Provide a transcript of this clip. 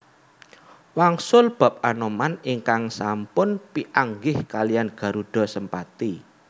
Wangsul bab Anoman ingkang sampun pianggih kaliyan Garudha Sempati